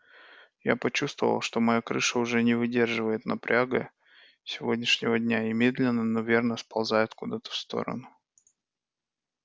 я почувствовала что моя крыша уже не выдерживает напряга сегодняшнего дня и медленно но верно сползает куда-то в сторону